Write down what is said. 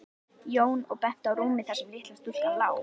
Jón og benti á rúmið þar sem litla stúlkan lá.